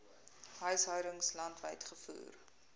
huishoudings landwyd gevoer